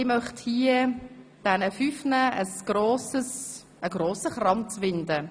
Ich möchte den fünf Teilnehmenden einen grossen Kranz winden.